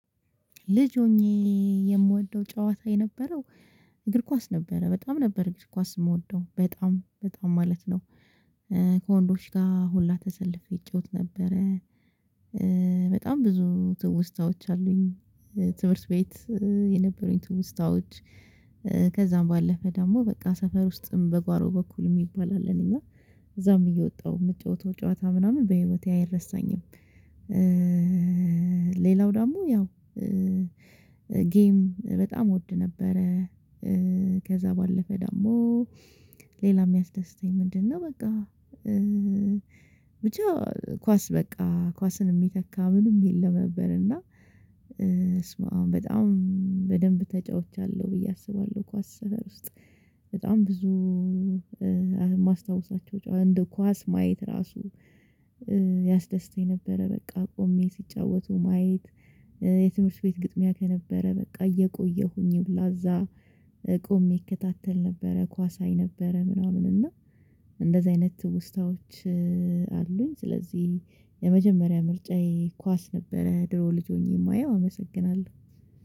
ልጅ ሆኜ የምወደው ጨዋታ የነበረው እግር ኳስ ነበረ በጣም ነበር እግር ኳስ የምወደው፤ በጣም በጣም ማለት ነው። ከወንዶች ጋር ሁላ ተሰልፌ ይጫወት ነበረ። በጣም ብዙ ትውስታዎች አሉኝ። ትምህርት ቤት የነበሩኝ ትውስታዎች፤ ባለፈ ደግሞ በቃ ሰፈር ውስጥም በጓሮ በኩል የሚባል አለን፤ እና እዛም እየወጣው የምትጫወተው ጨዋታ ምናምን በህይወቴ አይረሳኝም። ሌላው ደግሞ ያው ጌም በጣም እወድ ነበረ። ከዛ ባለፈ ደግሞ ሌላ የሚያስደስተኝ ምንድነው በቃ ብቻ ኳስ በቃ ኳስን የሚተካ ምንም የለም ነበር፤ እና በሱመ አብ በጣም በደንብ ተጫውቻለሁ ብዬ አስባለሁ፤ ኳስ ስፍራ ውስጥ በጣም ብዙ የማስታውሳቸው። እንደ ኳስ ማየት ራሱ ያስደስተኝ ነበረ በቃ ቆሜ ሲጫወቱ ማየት፤ የትምህርት ቤት ግጥሚያ ከነበረ በቃ እየቆየሁኝም ሁላ እዛ ቆሜ ይከታተል ነበረ ኳስ አይ ነበረ ምናምን። እና እንደዚህ አይነት ትውስታዎች አሉኝ ስለዚህ የመጀመሪያ ምርጫዬ ኳስ ነበረ ድሮ ልጅ ሆኜ የማየው አመሰግናለሁ።